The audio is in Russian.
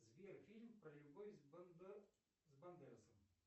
сбер фильм про любовь с бандерасом